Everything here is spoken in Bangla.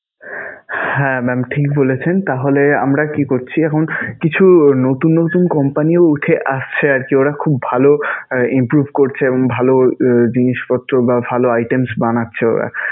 হ্যাঁ mam ঠিক বলেছেন. তাহলে আমরা কি করছি এখন? কিছু নতুন নতুন company ও উঠে আসছে আরকি, ওরা খুব ভালো improve করছে এবং ভালো জিনিসপত্র বা ভালো items বানাচ্ছে ওরা.